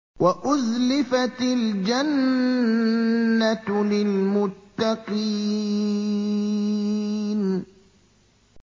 وَأُزْلِفَتِ الْجَنَّةُ لِلْمُتَّقِينَ